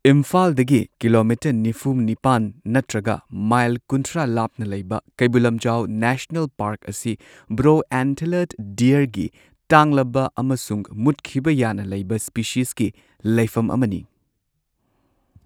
ꯏꯝꯐꯥꯜꯗꯒꯤ ꯀꯤꯂꯣꯃꯤꯇꯔ ꯅꯤꯐꯨ ꯅꯤꯄꯥꯟ ꯅꯠꯇ꯭ꯔꯒ ꯃꯥꯏꯜ ꯀꯨꯟꯊ꯭ꯔꯥ ꯂꯥꯞꯅ ꯂꯩꯕ ꯀꯩꯕꯨꯜ ꯂꯝꯖꯥꯎ ꯅꯦꯁꯅꯦꯜ ꯄꯥꯔꯛ ꯑꯁꯤ ꯕ꯭ꯔꯣ ꯑꯦꯟꯇꯂꯔꯗ ꯗꯤꯌꯔꯒꯤ ꯇꯥꯡꯂꯕ ꯑꯃꯁꯨꯡ ꯃꯨꯠꯈꯤꯕ ꯌꯥꯅ ꯂꯩꯕ ꯁ꯭ꯄꯦꯁꯤꯁꯀꯤ ꯂꯩꯐꯝ ꯑꯃꯅꯤ꯫